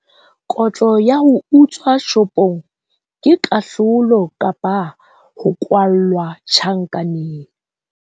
Kotlo ya ho utswa shopong ke kahlolo kapa ho kwallwa tjhankaneng.